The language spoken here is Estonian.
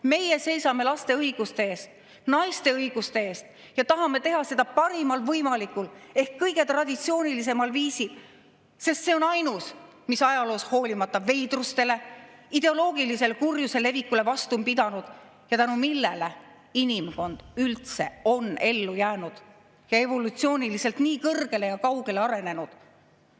Meie seisame laste õiguste eest, naiste õiguste eest ja tahame teha seda parimal võimalikul ehk kõige traditsioonilisemal viisil, sest see on ainus, mis ajaloos, hoolimata veidrustest ja ideoloogilise kurjuse levikust, vastu on pidanud ja tänu millele inimkond üldse on ellu jäänud ja evolutsiooniliselt nii kõrgele ja kaugele arenenud.